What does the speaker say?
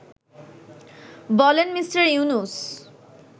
বলেন মিঃ ইউনুস